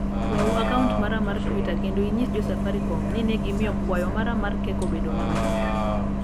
yawu akaunt mar mar twita kendo inyis jo safarikom ni ne gimiyo kwayo mara mar kek obed mamit